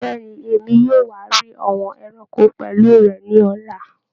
Bẹẹni, Èmi yóò wa rí àwọn ẹranko pẹlu rẹ ni ọla